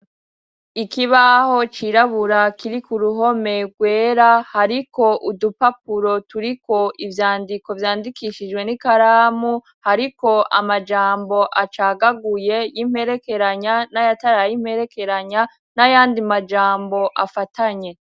Ikiibaho cirabura kiri ku ruhome rwera. Hariko udupapuro turiko ivyandiko vyandikishijwe n'ikaramu, hariko amajambo acagaguye y'imperekeranya n'ayataray'imperekeranya n'ayandi majambo afatanye.